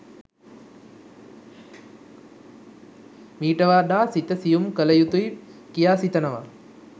මීට වඩා සිත සියුම් කළ යුතුයි කියා සිතනවා.